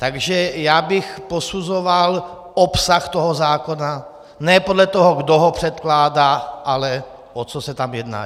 Takže já bych posuzoval obsah toho zákona ne podle toho, kdo ho předkládá, ale o co se tam jedná.